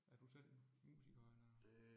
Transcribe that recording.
Er du selv musiker eller?